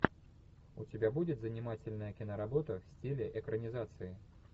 у тебя будет занимательная киноработа в стиле экранизации